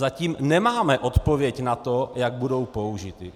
Zatím nemáme odpověď na to, jak budou použity.